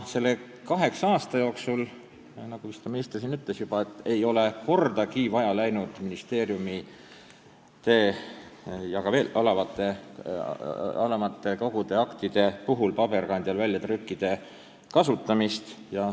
Selle kaheksa aasta jooksul, nagu vist ka minister siin juba ütles, ei ole ministeeriumide ja ka alamate kogude aktide puhul kordagi vaja läinud väljatrükke, neid ei ole kasutatud.